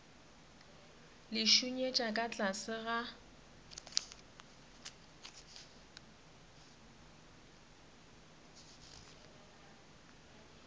le šunyetša ka tlase ga